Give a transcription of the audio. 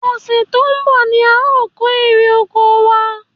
Ọ̀sẹ̀ tó ń bọ̀ ni a o kò èrè oko wa